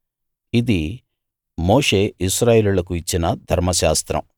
ఇదీ మోషే ఇశ్రాయేలీయులకు ఇచ్చిన ధర్మశాస్త్రం